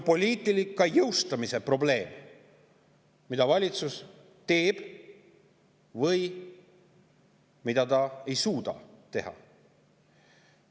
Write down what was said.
See, mida valitsus teeb või mida ta ei suuda teha, on poliitika jõustamise probleem.